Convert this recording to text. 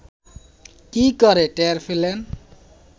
কী করে টের পেলেন